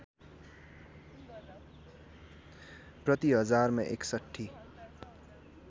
प्रति हजारमा ६१